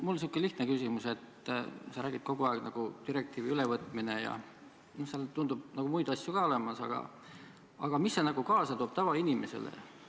Mul on säärane lihtne küsimus: sa räägid kogu aeg direktiivide ülevõtmisest ja seal tundub muid asju ka olevat, aga mida see kaasa toob tavainimesele?